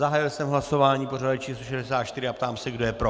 Zahájil jsme hlasování pořadové číslo 64 a ptám se, kdo je pro.